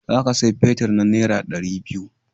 Za ka saya fetir na nera dari biyu